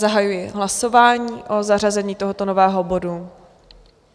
Zahajuji hlasování o zařazení tohoto nového bodu.